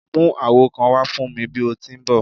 Mu awo kan wa fun mi bi o ti n bọ!